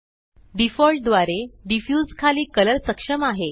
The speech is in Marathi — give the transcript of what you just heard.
डिफॉल्ट द्वारे डिफ्यूज खाली कलर सक्षम आहे